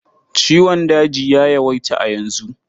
Ciwon daji ya yawaita a yanzu.